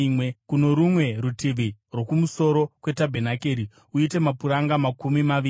Kuno rumwe rutivi, rwokumusoro kwetabhenakeri, uite mapuranga makumi maviri,